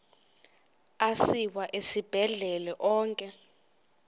asiwa esibhedlele onke